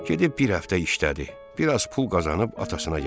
Gedib bir həftə işlədi, biraz pul qazanıb atasına gətirdi.